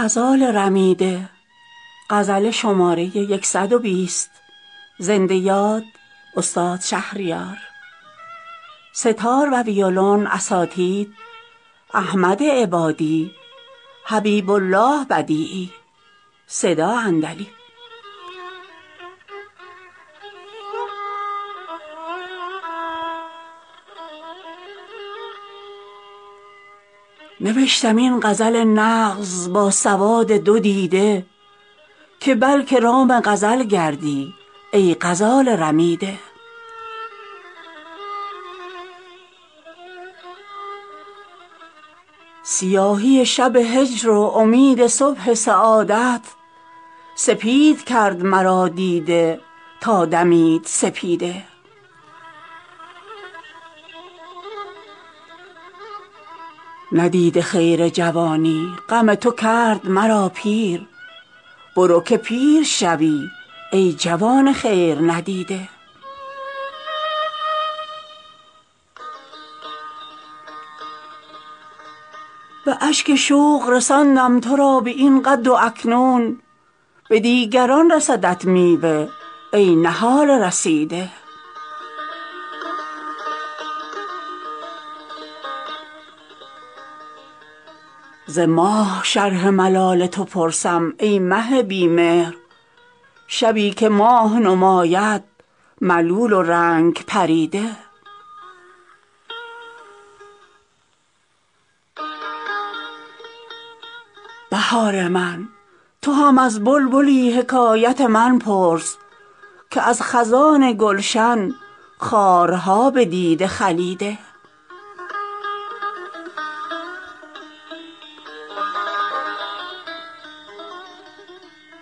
نوشتم این غزل نغز با سواد دو دیده که بلکه رام غزل گردی ای غزال رمیده سیاهی شب هجر و امید صبح سعادت سپید کرد مرا دیده تا دمید سپیده ندیده خیر جوانی غم تو کرد مرا پیر برو که پیر شوی ای جوان خیر ندیده به اشک شوق رساندم ترا به این قد و اکنون به دیگران رسدت میوه ای نهال رسیده ز ماه شرح ملال تو پرسم ای مه بی مهر شبی که ماه نماید ملول و رنگ پریده بهار من تو هم از بلبلی حکایت من پرس که از خزان گلشن خارها به دیده خلیده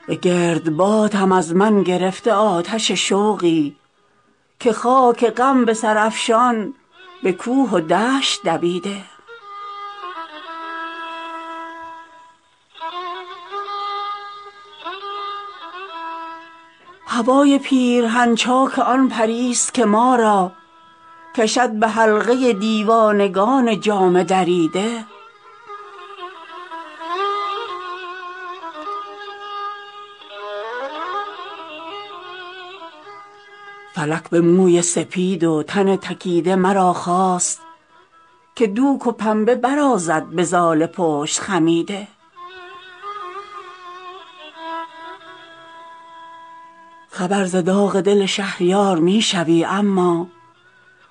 به گردباد هم از من گرفته آتش شوقی که خاک غم به سر افشان به کوه و دشت دویده هوای پیرهن چاک آن پری است که ما را کشد به حلقه دیوانگان جامه دریده فلک به موی سپید و تن تکیده مرا خواست که دوک و پنبه برازد به زال پشت خمیده خبر ز داغ دل شهریار می شوی اما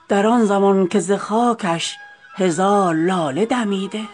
در آن زمان که ز خاکش هزار لاله دمیده